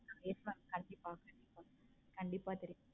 yes mam கண்டிப்பா கண்டிப்பா கண்டிப்பா தெரியும்